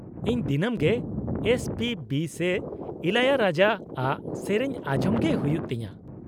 -ᱤᱧ ᱫᱤᱱᱟᱹᱢ ᱜᱮ ᱮᱥ ᱯᱤ ᱵᱤ ᱥᱮ ᱤᱞᱟᱭᱟᱨᱟᱡᱟ ᱟᱜ ᱥᱮᱹᱨᱮᱹᱧ ᱟᱸᱡᱚᱢ ᱜᱮ ᱦᱩᱭᱩᱜ ᱛᱤᱧᱟᱹ ᱾